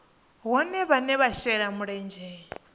vhohe vhane vha shela mulenzhe